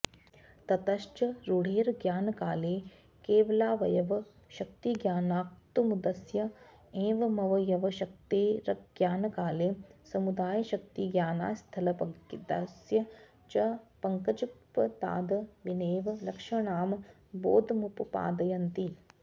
ततश्च रूढेरज्ञानकाले केवलावयवशक्तिज्ञानाक्तुमुदस्य एवमवयवशक्तेरज्ञानकाले समुदायशक्तिज्ञानात्स्थलपद्मस्य च पङ्कजपदाद् विनैव लक्षणां बोधमुपपादयन्ति